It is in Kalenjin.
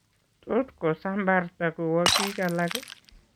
Tot kosambarta kowo biik alak